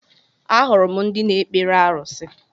Ahụrụ m ndị na-ekpere arusi